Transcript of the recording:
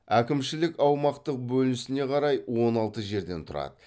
әкімшілік аумақтық бөлінісіне қарай он алты жерден тұрады